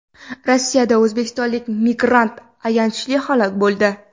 Rossiyada o‘zbekistonlik migrant ayanchli halok bo‘ldi.